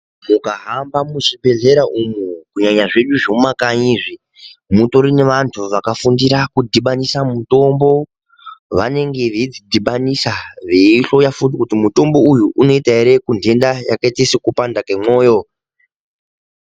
Mukahamba muzvibhedhlera umu kunyanya zvedu zvemumakanyi izvi, mutori nevantu vakafundira kudhibanisa mitombo, vanenge veidzidhibanisa veihloya futi kuti mutombo uyu unoita ere kunhenda yakaita sekupanda kwemwoyo.